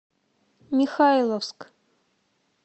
михайловск